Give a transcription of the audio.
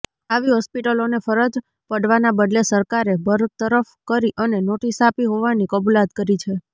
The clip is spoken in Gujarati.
આવી હોસ્પિટલોને ફરજ પડવાના બદલે સરકારે બરતરફ કરી અને નોટિસ આપી હોવાની કબૂલાત કરી છે